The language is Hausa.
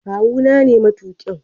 Kawu na ne matuƙin.